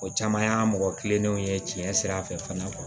O caman y'a mɔgɔ kilennenw ye tiɲɛ fɛ